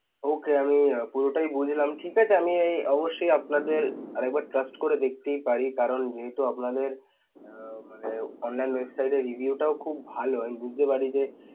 Okay আমি পুরোটাই বুঝলাম ঠিকআছে আমি এই অবশ্যই আপনাদের আরেকবার trust করে দেখতেই পারি কারণ যেহেতু আপনাদের আহ ~মানে online website এর review টাও খুব ভাল and বুঝতে পারি যে